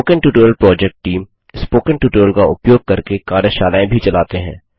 spoken tutorial project team spoken tutorial का उपयोग करके कार्यशालाएँ भी चलाते हैं